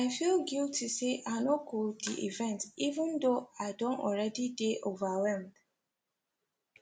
i feel guilty say i no go the event even though i don already dey overwhelmed